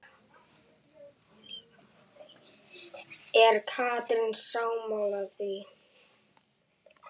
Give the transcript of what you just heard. Er Katrín sammála því?